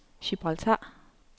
Gibraltar